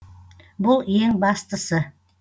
бұл ең бастысы